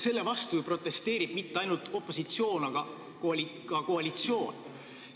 Selle vastu ju ei protesteeri mitte ainult opositsioon, vaid ka koalitsioon.